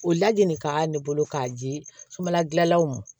O lajini ka ne bolo k'a di somala dilannaw